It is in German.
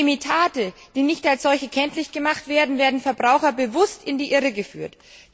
Durch Imitate, die nicht als solche kenntlich gemacht werden, werden Verbraucher bewusst in die Irre geführt.